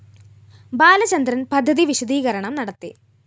ബാലചന്ദ്രന്‍ പദ്ധതി വിശദീകരണം നടത്തി